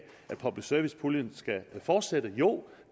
at public service puljen skal fortsætte jo